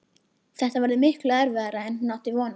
Þetta verður miklu erfiðara en hún átti von á.